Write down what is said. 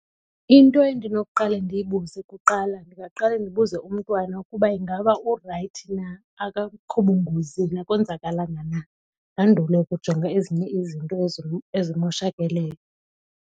Into endinokuqale ndiyibuze kuqala ndingaqale ndibuze umntwana ukuba ingaba urayithi na akakho bungozini akonzakalanga na ndandule ukujonga ezinye izinto ezimoshakeleyo.